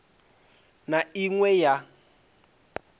na i ṅ we ya